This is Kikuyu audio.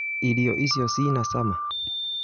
Irio icio cina cama?